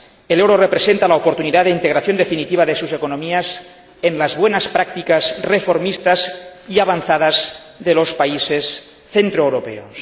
El euro representa la oportunidad de integración definitiva de sus economías en las buenas prácticas reformistas y avanzadas de los países centroeuropeos.